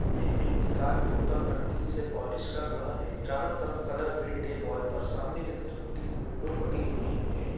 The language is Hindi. एक व्यक्ति कार के ऊपर पन्नी से पोलिश कर रहा है चारों तरफ कलर पेंट है वॉल पर सामने की तरफ तीन विंडो बनी हुई है।